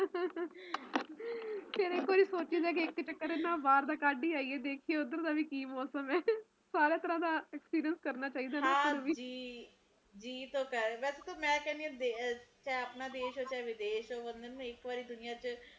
ਕਦੇ ਸੋਚੀ ਦਾ ਕੀ ਇੱਕ ਚੱਕਰ ਨਾ ਬਾਹਰ ਦਾ ਕੱਢ ਹੀ ਆਈਏ ਦੇਖੀਏ ਓਧਰ ਦਾ ਵੀ ਕੀ ਮੌਸਮ ਐ ਸਾਰੇ ਘਰਾਂ ਦਾ experience ਕਰਨਾ ਚਾਹੀਦਾ ਫੇਰ ਵੀ ਹਜੀ ਜੀ ਤੋਂ ਕਰਦਾ ਪਰ ਮੈਂ ਕਹਿਣੀ ਆ ਕੇ ਭਾਵੇ ਦੇਸ਼ ਹੋਵੇ ਭਾਵੇ ਵਿਦੇਸ਼ ਹੋਵੇ ਬੰਦੇ ਨੂੰ ਇੱਕ ਵਾਰੀ ਦੁਨੀਆਂ ਚ